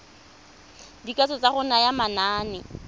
dikatso tsa go naya manane